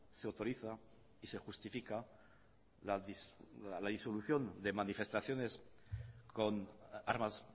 se autoriza y se justifica la disolución de manifestaciones con armas